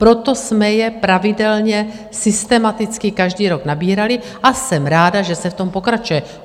Proto jsme je pravidelně systematicky každý rok nabírali a jsem ráda, že se v tom pokračuje.